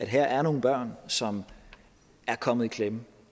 her er nogle børn som er kommet i klemme